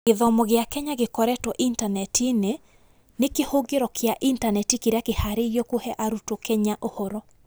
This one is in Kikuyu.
Gĩthomo gĩa Kenya gĩkorĩtwo intaneti-inĩ nĩ kĩhũngĩro kĩa intaneti kĩrĩa kĩhaarĩirio kũhe arutwo Kenya ũhoro.